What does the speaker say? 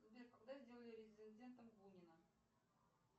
сбер когда сделали резидентом бунина